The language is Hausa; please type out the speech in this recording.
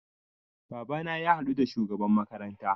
Babana ya haɗu da shugaban makaranta